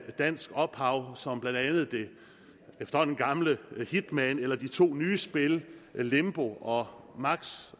dansk ophav som blandt andet det efterhånden gamle hitman eller de to nye spil limbo og max